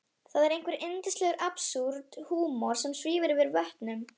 Það er einhver yndislegur absúrd-húmor sem svífur yfir vötnum.